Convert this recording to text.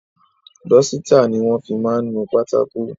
Dọ́sítà ni wọ́n fi máa ń nu pátákó.